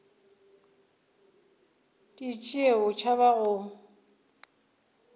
di tšee o tšhaba go